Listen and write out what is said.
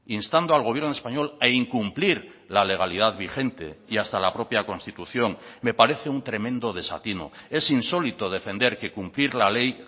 instando al gobierno español a incumplir la legalidad vigente y hasta la propia constitución me parece un tremendo desatino es insólito defender que cumplir la ley